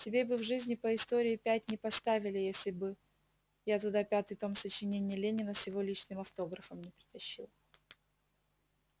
тебе бы в жизни по истории пять не поставили если бы я туда пятый том сочинений ленина с его личным автографом не притащил